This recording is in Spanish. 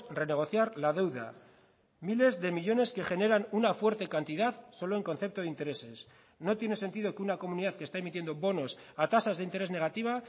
renegociar la deuda miles de millónes que generan una fuerte cantidad solo en concepto de intereses no tiene sentido que una comunidad que está emitiendo bonos a tasas de interés negativa